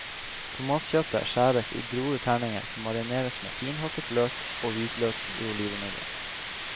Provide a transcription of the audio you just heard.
Tomatkjøttet skjæres i grove terninger, som marineres med finhakket løk og hvitløk i olivenolje.